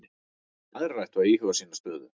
Aðrir ættu að íhuga sína stöðu